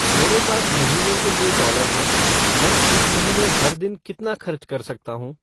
मेरे पास महीने के लिए डॉलर हैं मैं इस महीने हर दिन कितना खर्च कर सकता हूं